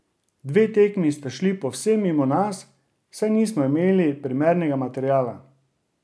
Dve tekmi sta šli povsem mimo nas, saj nismo imeli primernega materiala.